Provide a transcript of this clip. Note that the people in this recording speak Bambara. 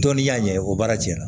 Dɔnniya in ye o baara cɛnna